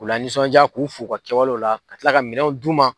K'u la nisɔnjaa k'u fo u ka kɛwalew la ka kila ka minɛnw d'u ma.